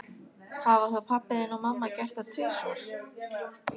Hafa þá pabbi þinn og mamma gert það tvisvar?